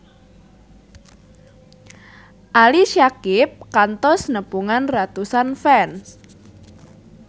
Ali Syakieb kantos nepungan ratusan fans